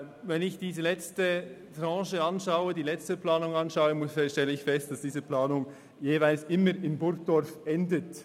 Wenn ich die letzte Planung anschaue, stelle ich fest, dass diese jeweils stets in Burgdorf endet.